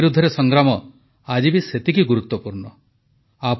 corona ବିରୁଦ୍ଧରେ ସଂଗ୍ରାମ ଆଜି ବି ସେତିକି ଗୁରୁତ୍ୱପୂର୍ଣ୍ଣ